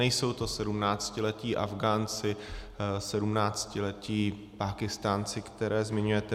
Nejsou to sedmnáctiletí Afgánci, sedmnáctiletí Pákistánci, které zmiňujete.